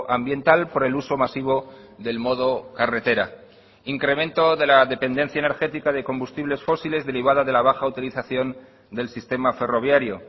ambiental por el uso masivo del modo carretera incremento de la dependencia energética de combustibles fósiles derivada de la baja utilización del sistema ferroviario